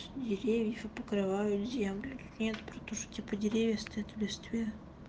деревьев покрывают землю нет притуши типа деревья стоят в листве